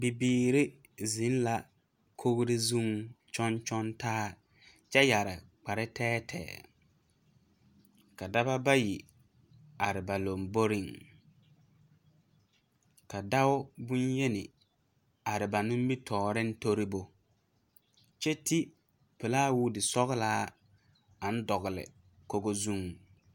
Bibiiri zeŋ la kogri zuŋ kyɔŋ kyɔŋ taa kyɛ yɛre kpare tɛɛtɛɛ ka daba bayi are ba lomboriŋ ka dao boŋyeni are ba nimitɔɔreŋ tori bo kyɛ ti pelaa woodi sɔglaa aŋ dogle kogo zuŋ.